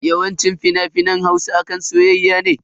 Yawanci fina-finan Hausa akan soyayya ne.